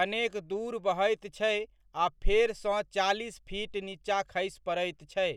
कनेक दूर बहैत छै आ फेरसँ चालीस फीट नीचा खसि पड़ैत छै।